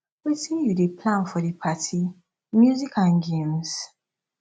wetin you dey plan for di party music and games